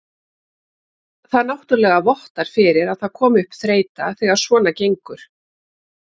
Það náttúrulega vottar fyrir að það komi upp þreyta þegar svona gengur.